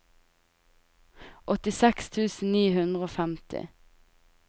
åttiseks tusen ni hundre og femti